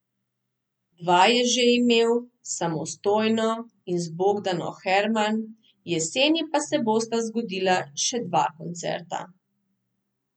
Dva je že imel, samostojno in z Bogdano Herman, jeseni pa se bosta zgodila še dva koncerta.